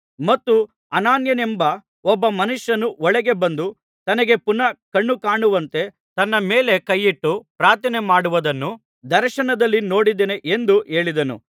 ಮತ್ತು ಅನನೀಯನೆಂಬ ಒಬ್ಬ ಮನುಷ್ಯನು ಒಳಗೆ ಬಂದು ತನಗೆ ಪುನಃ ಕಣ್ಣು ಕಾಣುವಂತೆ ತನ್ನ ಮೇಲೆ ಕೈಯಿಟ್ಟು ಪ್ರಾರ್ಥನೆಮಾಡುವುದನ್ನು ದರ್ಶನದಲ್ಲಿ ನೋಡಿದ್ದಾನೆ ಎಂದು ಹೇಳಿದನು